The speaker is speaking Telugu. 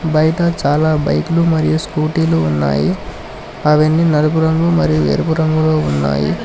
బైట చాలా బైక్ లు మరియు స్కూటీ లు ఉన్నాయి అవన్నీ నలుపు రంగు మరియు ఎరుపు రంగులో ఉన్నాయి.